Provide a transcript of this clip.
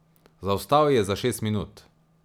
Zaostal je za šest minut.